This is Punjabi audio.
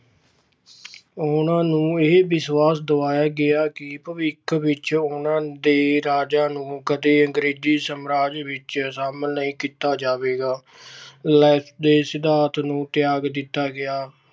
ਉਹਨਾਂ ਨੂੰ ਇਹ ਵਿਸ਼ਵਾਸ ਦਵਾਇਆ ਗਿਆ ਕਿ ਭਵਿੱਖ ਵਿਚ ਉਹਨਾਂ ਦੇ ਰਾਜਾਂ ਨੂੰ ਕਦੇ ਅੰਗਰੇਜੀ ਸਾਮਰਾਜ ਵਿੱਚ ਸ਼ਾਮਲ ਨਹੀਂ ਕੀਤਾ ਜਾਵੇਗਾ। Lapse ਦੇ ਸਿਧਾਂਤ ਨੂੰ ਤਿਆਗ ਦਿੱਤਾ ਗਿਆ।